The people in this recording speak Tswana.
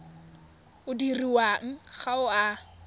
o dirwang ga o a